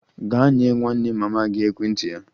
Gaa nye nwanne mama gị ekwentị ya!